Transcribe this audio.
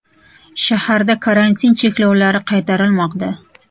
Shaharda karantin cheklovlari qaytarilmoqda.